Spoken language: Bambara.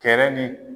Kɛlɛ ni